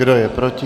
Kdo je proti?